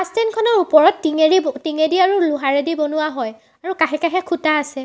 Bus ষ্টেনখনৰ ওপৰত টো টিঙেৰি টিঙেদি আৰু লোহাৰেদি বনোৱা হয় আৰু কাষে-কাষে খুঁটা আছে।